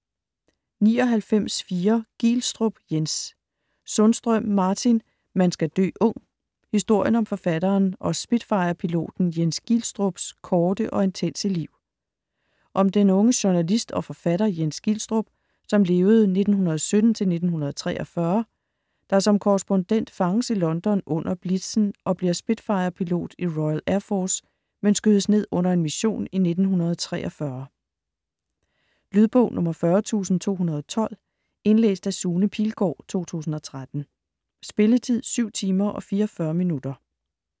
99.4 Gielstrup, Jens Sundstrøm, Martin: Man skal dø ung: historien om forfatteren og Spitfire-piloten Jens Gielstrups korte og intense liv Om den unge journalist og forfatter Jens Gielstrup (1917-1943), der som korrespondent fanges i London under Blitzen og bliver Spitfire-pilot i Royal Air Force, men skydes ned under en mission i 1943. Lydbog 40218 Indlæst af Sune Pilgaard, 2013. Spilletid: 7 timer, 44 minutter.